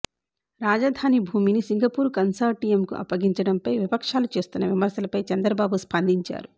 రాజధాని భూమిని సింగపూర్ కన్సార్టియంకు అప్పగించడంపై విపక్షాలు చేస్తున్న విమర్శలపై చంద్రబాబు స్పందించారు